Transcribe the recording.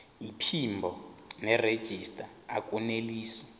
iphimbo nerejista akunelisi